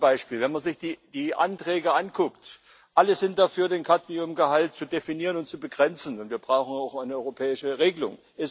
Das erste Beispiel Wenn man sich die Anträge anguckt alle sind dafür, den Cadmiumgehalt zu definieren und zu begrenzen, und wir brauchen auch eine europäische Regelung.